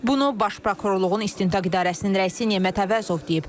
Bunu baş prokurorluğun istintaq idarəsinin rəisi Nemət Əvəzov deyib.